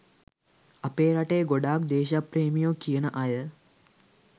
අපේ රටේ ගොඩක් දේශප්‍රේමියො කියන අය